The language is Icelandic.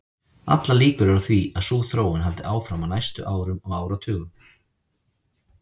Allar líkur eru á því að sú þróun haldi áfram á næstu árum og áratugum.